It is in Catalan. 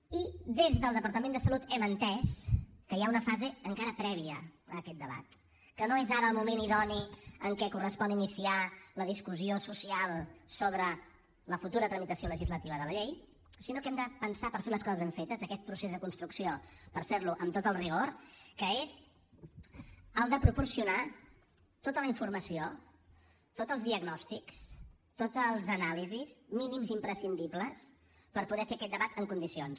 i des del departament de salut hem entès que hi ha una fase encara prèvia a aquest debat que no és ara el moment idoni en què correspon iniciar la discussió social sobre la futura tramitació legislativa de la llei sinó que hem de pensar per fer les coses ben fetes aquest procés de construcció per fer lo amb tot el rigor que és el de proporcionar tota la informació tots els diagnòstics totes les anàlisis mínims imprescindibles per poder fer aquest debat en condicions